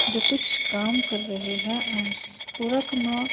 जो कुछ काम कर रहे हैं एंड्स पूरा कमरा--